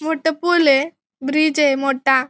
मोठ पूल ये ब्रिजय मोठा.